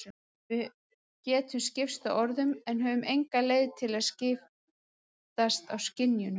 Við getum skipst á orðum en höfum enga leið til að skiptast á skynjunum.